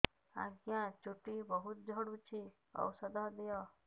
ଆଜ୍ଞା ଚୁଟି ବହୁତ୍ ଝଡୁଚି ଔଷଧ ଦିଅ